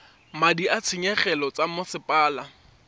madi a ditshenyegelo tsa mosepele